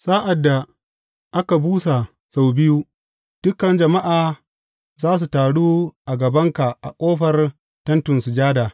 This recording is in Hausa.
Sa’ad da aka busa su biyu, dukan jama’a za su taru a gabanka a ƙofar Tentin Sujada.